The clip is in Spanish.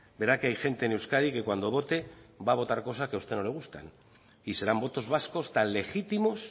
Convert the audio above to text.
verá que hay gente en euskadi que cuando vote va a votar cosas que a usted no le gustan y serán votos vascos tan legítimos